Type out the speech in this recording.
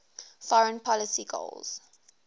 foreign policy goals